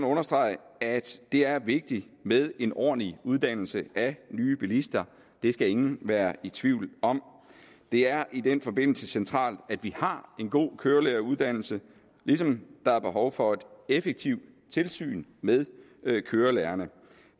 understrege at det er vigtigt med en ordentlig uddannelse af nye bilister det skal ingen være i tvivl om det er i den forbindelse centralt at vi har en god kørelæreruddannelse ligesom der er behov for et effektivt tilsyn med kørelærerne